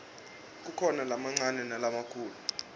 kukhona lamancane nalamakhulu